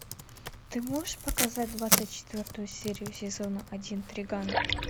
ты можешь показать двадцать четвертую серию сезона один триган